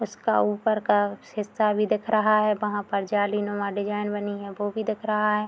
उसका ऊपर का हिस्सा भी दिख रहा है वहाँ पर जालीनुमा डिज़ाइन बनी है वो भी दिख रहा है।